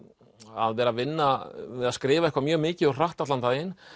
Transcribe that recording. að vera að vinna við að skrifa eitthvað mjög mikið og hratt allan daginn